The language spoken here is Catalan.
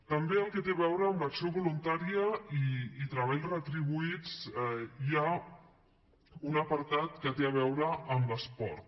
també al que té a veure amb l’acció voluntària i treballs retribuïts hi ha un apartat que té a veure amb l’esport